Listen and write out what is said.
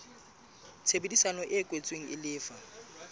tshebedisano e kwetsweng e lefa